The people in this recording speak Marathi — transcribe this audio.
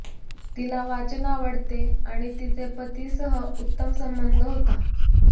तिला वाचन आवडते आणि तिचे पती सह उत्तम संबंध होता